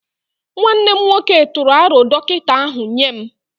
Nwanne m nwoke tụrụ aro dọkịta ahu nye m